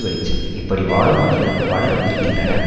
வெளிச்சம் இப்படி வாழும் மனிதர் பலர் இருக்கின்றனர்